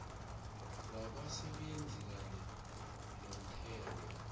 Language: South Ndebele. wabasebenzi kanye nomthelo